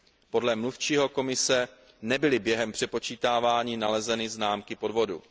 Podle mluvčího komise nebyly během přepočítávání nalezeny známky podvodu.